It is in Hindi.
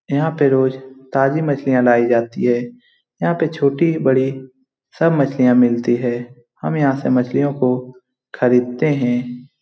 यहां पर रोज ताजी मछलियां लायी जाती है यहां पर छोटी-बड़ी सब मछलियां मिलती हैं और हमे यहां से मछलियों को खरीदते हैं।